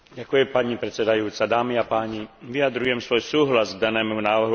Vyjadrujem svoj súhlas k danému návrhu odporúčania Európskeho parlamentu Rade.